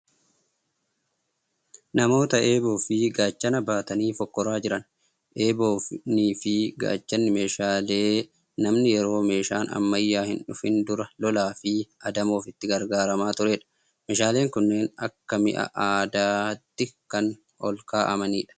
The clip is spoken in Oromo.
Namoota eeboo fi gaachana baatanii fokkoraa jiran. Eeboonii fi gaachanni meeshaa lee namni yeroo meeshaan ammayyaa hin dhufiin dura lolaa fi adamoof itti gargaaramaa turedha. Meeshaaleen kunneen akka mi'a aadaatti kan olkaa'amanidha.